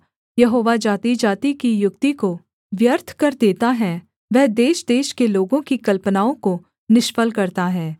यहोवा जातिजाति की युक्ति को व्यर्थ कर देता है वह देशदेश के लोगों की कल्पनाओं को निष्फल करता है